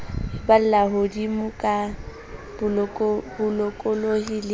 balla hodimo ka bolokolohi le